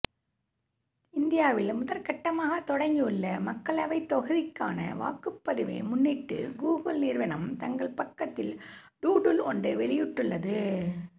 இந்தியாவில் முதல்கட்டமாகத் தொடங்கியுள்ள மக்களவைத் தொகுதிக்கான வாக்குப்பதிவை முன்னிட்டு கூகுள் நிறுவனம் தங்கள் பக்கத்தில் டூடுல் ஒன்ற வெளியிட்டுள்ளது